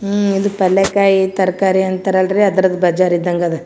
ಉಹ್ ಇದು ಪಲ್ಯಕಾಯಿ ತರಕಾರಿ ಅಂತರಲ್ಲರಿ ಅದ್ರದ್ ಬಜಾರ್ ಇದಾಂಗ್ ಅದ್.